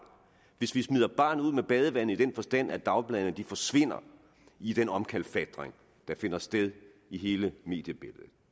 hvis vi smider barnet ud med badevandet i den forstand at dagbladene forsvinder i den omkalfatring der finder sted i hele mediebilledet